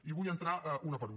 i hi vull entrar una per una